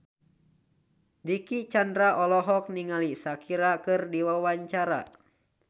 Dicky Chandra olohok ningali Shakira keur diwawancara